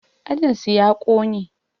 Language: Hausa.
Ajin su ya ƙone